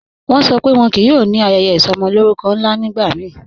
Wọ́n ṣọ́ pé wọ́n kíí yóò ní ayẹyẹ isọmọlórùkọ́ nla nígbàmíì